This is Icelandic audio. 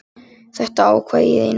Þetta ákvað ég í nótt.